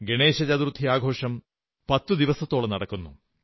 ഗണേശ ചതുർത്ഥി ആഘോഷം പത്തു ദിവസത്തോളം നടക്കുന്നു